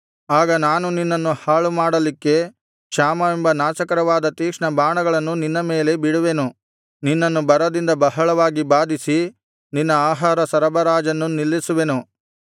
ಆಗ ನಾನು ನಿನ್ನನ್ನು ಹಾಳುಮಾಡಲಿಕ್ಕೆ ಕ್ಷಾಮವೆಂಬ ನಾಶಕರವಾದ ತೀಕ್ಷ್ಣ ಬಾಣಗಳನ್ನು ನಿನ್ನ ಮೇಲೆ ಬಿಡುವೆನು ನಿನ್ನನ್ನು ಬರದಿಂದ ಬಹಳವಾಗಿ ಬಾಧಿಸಿ ನಿನ್ನ ಆಹಾರ ಸರಬರಾಜನ್ನು ನಿಲ್ಲಿಸುವೆನು